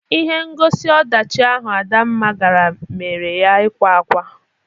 Ihe ngosi ọdachị ahụ Adamma gara mere ya ịkwa akwa.